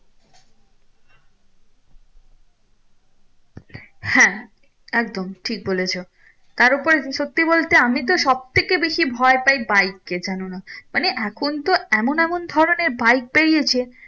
হ্যাঁ একদম ঠিক বলেছো তার উপর সত্যি বলতে আমি তো সব থেকে বেশি ভয় পাই bike কে জানো না মানে এখন তো এমন এমন ধরণের bike বেরিয়েছে